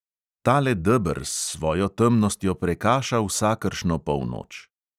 Tale deber s svojo temnostjo prekaša vsakršno polnoč.